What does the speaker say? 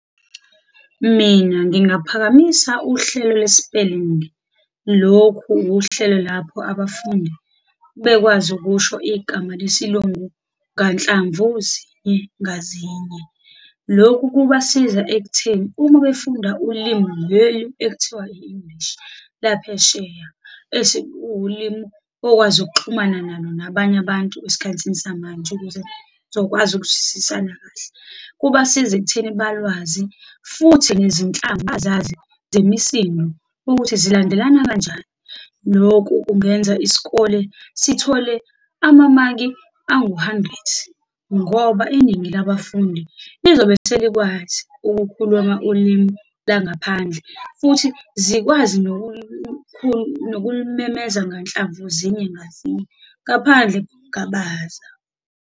Mina ngingaphakamisa uhlelo lwe-spelling, lokhu uhlelo lapho abafundi bekwazi ukusho igama lesiLungu nganhlamvu zinye ngazinye. Lokhu kubasiza ekutheni uma befunda ulimi leli ekuthiwa i-English laphesheya, esikuwulimi okwazi ukuxhumana nalo nabanye abantu esikhathini samanje, ukuze sokwazi ukuzwisisana kahle, kubasiza ekutheni balwazi, futhi nezinhlamvu bazazi zemisinsdo ukuthi zilandelana kanjani. Lokhu kungenza isikole sithole amamaki anguhandrethi, ngoba iningi labafundi lizobe selikwazii ukukhuluma ulimi langaphandle, futhi zikwazi nokulimemeza nganhlamvu zinye ngazinye, ngaphandle kokungabaza.